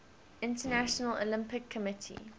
international olympic committee